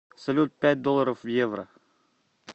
салют пять долларов в евро